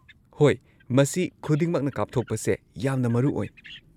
ꯍꯣꯏ, ꯃꯁꯤ ꯈꯨꯗꯤꯡꯃꯛꯅ ꯀꯥꯞꯊꯣꯛꯄꯁꯦ ꯌꯥꯝꯅ ꯃꯔꯨ ꯑꯣꯏ꯫